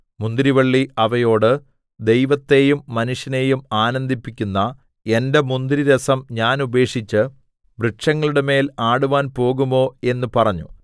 മുന്തിരിവള്ളി അവയോട് ദൈവത്തെയും മനുഷ്യനെയും ആനന്ദിപ്പിക്കുന്ന എന്റെ മുന്തിരിരസം ഞാൻ ഉപേക്ഷിച്ച് വൃക്ഷങ്ങളുടെമേൽ ആടുവാൻ പോകുമോ എന്ന് പറഞ്ഞു